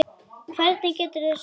Hvernig geturðu sagt þetta?